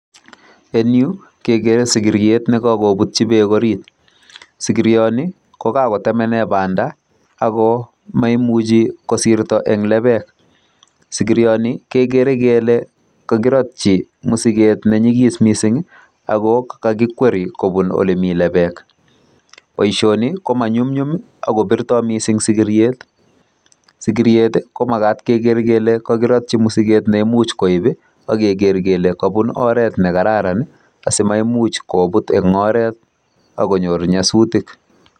En yu kegere sigiriet ne kakobutyi beek orit. Sigirio ni ko kakotemene banda ago maimuchi kosirto eng lebek. Sigirioni kegere kele kakirotyi mosiget ne nyigis mising ii ago kakikweri kobun olemi lebek. Boisioni komanyumnyum ak kopirtoi sigiriet. Sigiriet ko magat kele kakirotyi mosiget ne imuch koip ak keger kele kabun oret ne kararan asimaimuch koput eng oret ak konyor nyasutik.